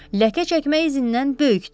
Ləkə çəkmə izindən böyükdür.